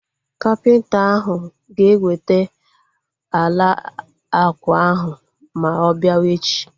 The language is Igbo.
Kapịnta ahu ga eweta ala ákwà ahu ma ọ biawa echi